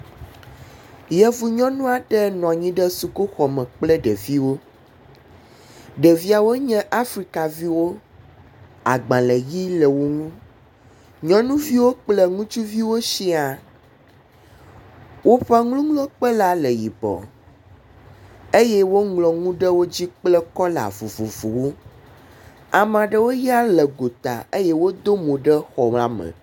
Yevu nyɔnu aɖe nɔ anyi ɖe sukuxɔ me kple ɖeviwo. Ɖeviawo nye afrikaviwo. Agbalẽ ʋi le wo ŋu. Nyɔnuviwo kple ŋutsuviwo sia. Woƒe nuŋlɔkpe la le yibɔ eye woŋlɔ nu ɖe wo dzi kple kɔla vovovowo. Amea ɖewo ya le gota eye wodo mo ɖe xɔ la me.